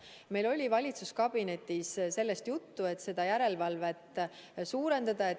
Meil oli valitsuskabinetis juttu, et seda järelevalvet tuleb suurendada.